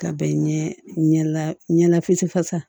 Ka bɛn ɲɛla ɲɛ lafi fasa